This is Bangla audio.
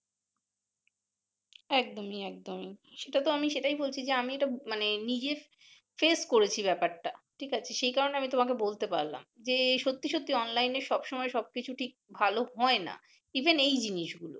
একদমই একদমই সেটাতো আমি সেটাই বলছি যে আমি মানে নিজেই face করেছি ব্যাপারটা ঠিক আছে সে কারনে আমি তোমাকে বলতে পারলাম যে সত্যি সত্যি অনলাইনে সব সময় সব কিছু ঠিক ভালো হয় নাহ even এই জিনিস গুলো